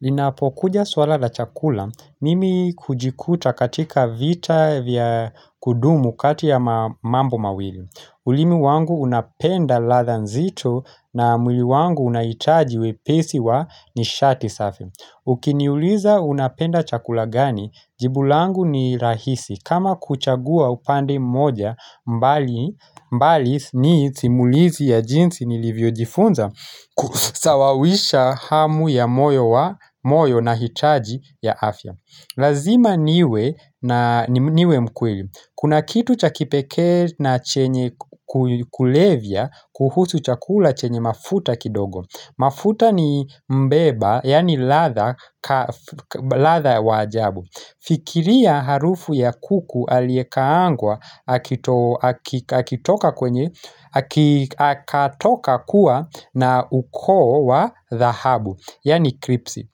Linapokuja suala la chakula, mimi hujikuta katika vita vya kudumu kati ya mambo mawili. Ulimi wangu unapenda ladha nzito na mwili wangu unahitaji wepesi wa nishati safi. Ukiniuliza unapenda chakula gani, jibu langu ni rahisi kama kuchagua upande mmoja, bali ni simulizi ya jinsi nilivyojifunza kusawazisha hamu ya moyo na hitaji la afya lazima niwe mkweli. Kuna kitu cha kipekee na chenye kulevya kuhusu chakula chenye mafuta kidogo. Mafuta ni mbeba, yani ladha wa ajabu Fikiria harufu ya kuku aliekaangwa akatoka kuwa na ukoo wa dhahabu, yani kripsi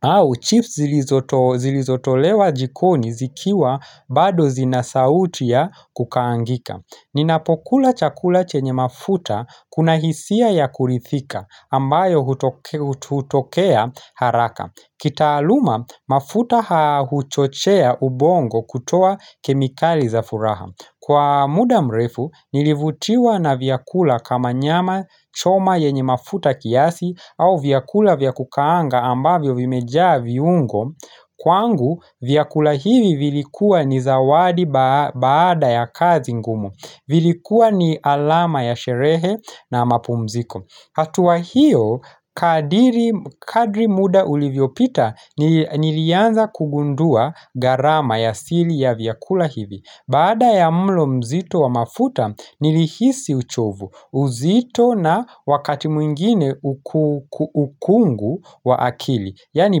au, chips zilizotolewa jikoni zikiwa bado zina sauti ya kukaangika Ninapokula chakula chenye mafuta kuna hisia ya kuridhika ambayo hutokea haraka. Kitaaluma mafuta huchochea ubongo kutoa kemikali za furaha. Kwa muda mrefu nilivutiwa na vyakula kama nyama choma yenye mafuta kiasi au vyakula vya kukaanga ambavyo vimejaa viungo, kwangu vyakula hivi vilikuwa ni zawadi baada ya kazi ngumu, vilikuwa ni alama ya sherehe na ya mapumziko. Hatua hiyo, kadri muda ulivyopita nilianza kugundua gharama ya siri ya vyakula hivi. Baada ya mlo mzito wa mafuta, nilihisi uchovu. Uzito na wakati mwingine ukungu wa akili, yaani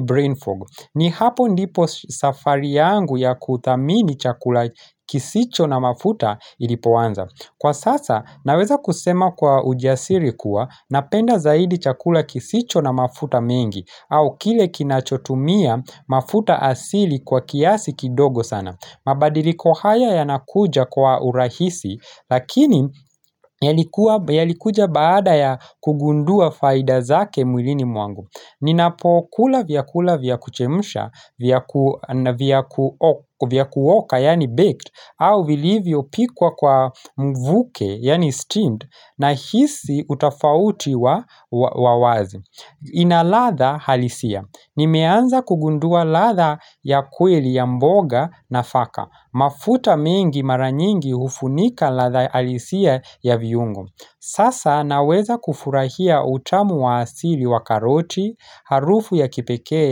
brain fog. Ni hapo ndipo safari yangu ya kuthamini chakula kisicho na mafuta ilipoanza. Kwa sasa naweza kusema kwa ujasiri kuwa napenda zaidi chakula kisicho na mafuta mengi au kile kinachotumia mafuta asili kwa kiasi kidogo sana. Mabadiliko haya yanakuja kwa urahisi lakini yalikuja baada ya kugundua faida zake mwilini mwangu. Ninapokula vyakula vya kuchemsha, vya kuoka yaani baked, au vilivyopikwa kwa mvuke yaani steamed, ninahisi tofauti ya wazi. Ina ladha halisia. Nimeanza kugundua ladha ya kweli ya mboga nafaka. Mafuta mengi mara nyingi hufunika ladha halisia ya viungo. Sasa naweza kufurahia utamu wa asili wa karoti, harufu ya kipekee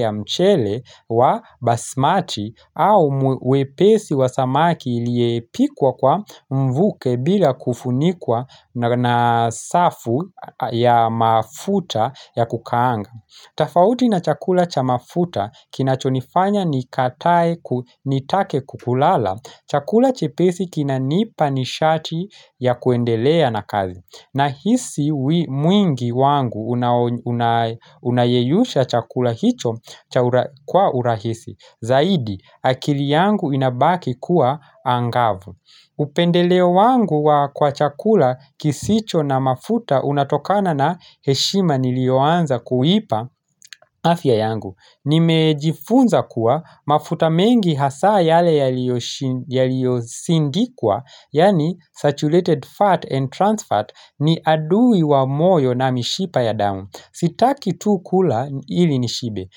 ya mchele wa basmati, au wepesi wa samaki aliyepikwa kwa mvuke bila kufunikwa na safu ya mafuta ya kukaanga. Tofauti na chakula cha mafuta kinachonifanya nitake kulala. Chakula chepesi kinanipa nishati ya kuendelea na kazi. Nahisi mwili wangu unayeyusha chakula hicho kwa urahisi. Zaidi, akili yangu inabaki kuwa angavu. Upendeleo wangu kwa chakula kisicho na mafuta unatokana na heshima niliyoanza kuipa afya yangu. Nimejifunza kuwa mafuta mengi hasa yale yaliyosindikwa, yaani saturated fat and trans fat, ni adui wa moyo na mishipa ya damu. Sitaki tu kula ili nishibe,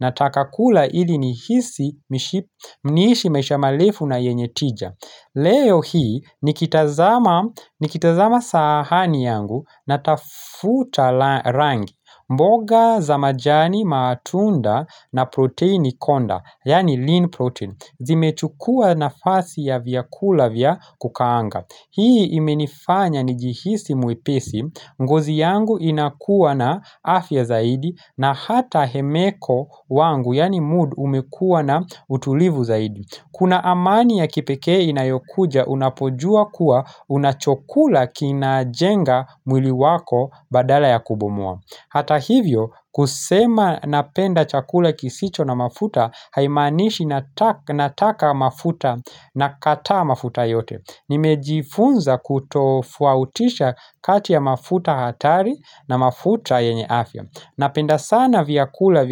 nataka kula ili niishi maisha marefu na yenye tija. Leo hii nikitazama sahani yangu natafuta rangi, mboga za majani, matunda, na protini konda yaani lean protein. Zimechukua nafasi ya vyakula vya kukaanga. Hii imenifanya nijihisi mwepesi, ngozi yangu inakuwa na afya zaidi na hata hemeko yangu yaani mood, umekuwa na utulivu zaidi. Kuna amani ya kipekee inayokuja unapojua kuwa unachokula kinajenga mwili wako badala ya kuubomoa. Hata hivyo kusema napenda chakula kisicho na mafuta haimaanishi nataka mafuta, nakataa mafuta yote. Nimejifunza kutofautisha kati ya mafuta hatari na mafuta yenye afya. Ninapenda sana vyakula.